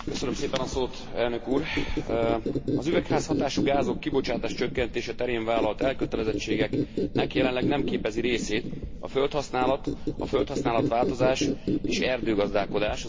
Az üvegházhatású gázok kibocsátás csökkentése terén vállalt elkötelezettségeknek jelenleg nem képezi részét a földhasználat, a földhasználat változás és erdőgazdálkodás, az úgynevezett LULUCF szektor.